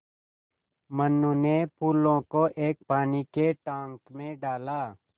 मनु ने फूलों को एक पानी के टांक मे डाला